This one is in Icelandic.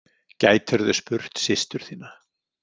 Gætirðu spurt systur þína?